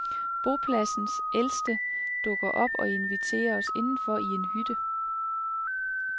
Bopladsens ældste dukker op og inviterer os indenfor i en hytte.